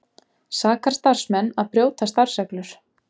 Sakar starfsmenn að brjóta starfsreglur